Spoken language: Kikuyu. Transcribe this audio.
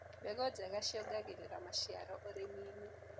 Mbegũ njega nĩciongagĩrĩra maciaro ũrĩminĩ.